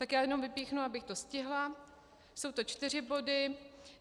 Tak já jen vypíchnu, abych to stihla, jsou to čtyři body.